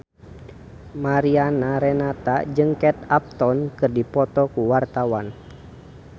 Mariana Renata jeung Kate Upton keur dipoto ku wartawan